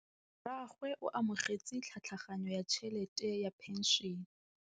Rragwe o amogetse tlhatlhaganyô ya tšhelête ya phenšene.